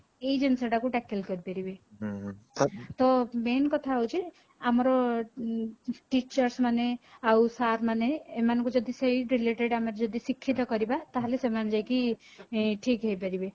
ଏଇ ଜିନିଷ ଟାକୁ tackle କରି ପାରିବେ ତ main କଥା ହଉଛି ଆମର teachers ମାନେ ଆଉ sir ମାନେ ଏମାନଙ୍କୁ ଯଦି ସେଇ related ଆମର ଯଦି ଶିକ୍ଷିତ କରିବା ତାହାଲେ ସେମାନେ ଯାଇକି ଶିକ୍ଷିତ ହେଇ ପାରିବେ